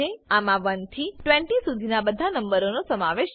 આમા 1 થી 20 શુધીના બધા નંબરનો સમાવેશ છે